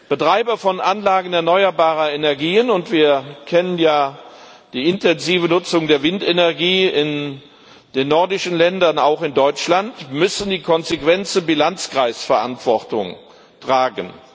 Betreiber von Anlagen erneuerbarer Energien und wir kennen ja die intensive Nutzung der Windenergie in den nordischen Ländern, auch in Deutschland müssen die konsequente Bilanzkreisverantwortung tragen.